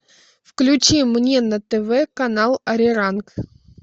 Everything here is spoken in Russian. включи мне на тв канал ариран